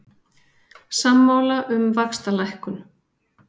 Sammála um vaxtalækkun